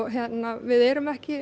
við erum ekki